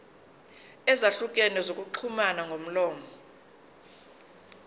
ezahlukene zokuxhumana ngomlomo